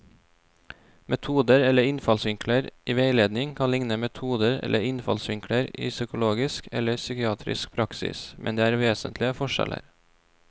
Metoder eller innfallsvinkler i veiledning kan likne metoder eller innfallsvinkler i psykologisk eller psykiatrisk praksis, men det er vesentlige forskjeller.